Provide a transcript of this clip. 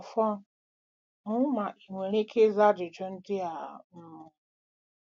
Ọfọn, hụ ma ị nwere ike ịza ajụjụ ndị a: um